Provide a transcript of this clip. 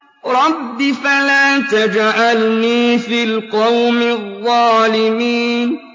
رَبِّ فَلَا تَجْعَلْنِي فِي الْقَوْمِ الظَّالِمِينَ